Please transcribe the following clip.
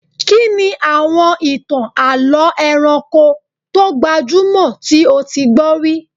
Kí ni àwọn ìtàn àlọ́ ẹranko tó gbajúmọ̀ tí o ti gbọ́ rí?